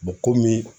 komi